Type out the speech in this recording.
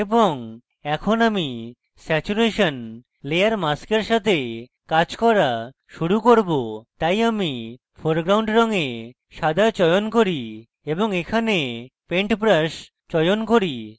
এবং এখন আমি স্যাচুরেশন layer mask সাথে কাজ করা শুরু করব তাই আমি foreground রঙে সাদা চয়ন করি এবং এখানে পেন্ট ব্রাশ চয়ন করি